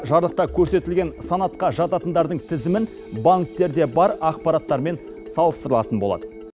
жарлықта көрсетілген санатқа жататындардың тізімін банктерде бар ақпараттармен салыстырылатын болады